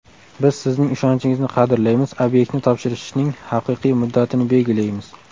Biz sizning ishonchingizni qadrlaymiz, obyektni topshirishning haqiqiy muddatini belgilaymiz.